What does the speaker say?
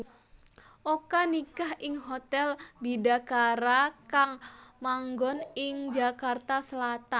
Oka nikah ing Hotel Bidakara kang manggon ing Jakarta Selatan